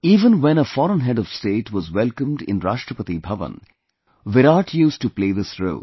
Even when a foreign head of state was welcomed in Rashtrapati Bhavan, Virat used to play this role